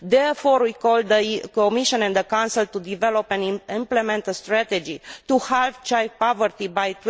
Therefore, we call on the Commission and the Council to develop and implement a strategy to halve child poverty by